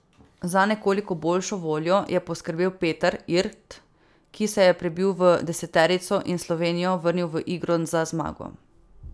Za nekoliko boljšo voljo je poskrbel Peter Irt, ki se je prebil v deseterico in Slovenijo vrnil v igro za zmago.